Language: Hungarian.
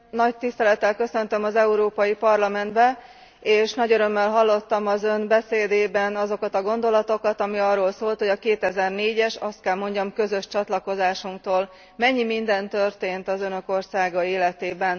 Nagy tisztelettel köszöntöm az Európai Parlamentben, és nagy örömmel hallottam az Ön beszédében azokat a gondolatokat, ami arról szólt, hogy a 2004 es azt kell mondjam, közös csatlakozásunktól mennyi minden történt az Önök országa életében.